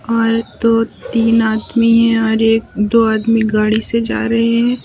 और दो तीन आदमी है और एक दो आदमी गाड़ी से जा रहे हैं।